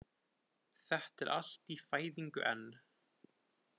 Þetta er allt í fæðingu enn